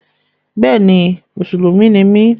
Bẹ́ẹ̀ni, mùsùlùmí ni mí